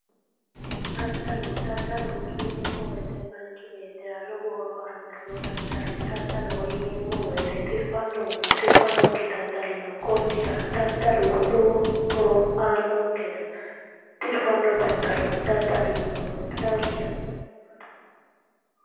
Daddalo, daddalo yineemmo woyte Manchu beettira lowo horo aannosiho daddalu daddaloho yineemmo woyte tirfannohunna tirffannokkihu no daddalu lowo horo aannonke gede tirfanno daddalo dadda'linummoro woyyannonke